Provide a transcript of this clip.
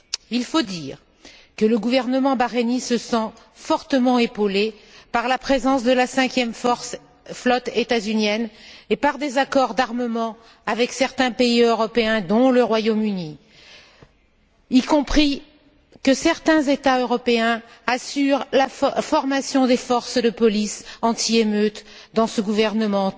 Il faut dire que le gouvernement bahreïnien se sent fortement épaulé par la présence de la 5e flotte étasunienne et par des accords d'armement avec certains pays européens, dont le Royaume Uni. Y compris, certains États européens assurent la formation des forces de police anti émeute dans ce gouvernement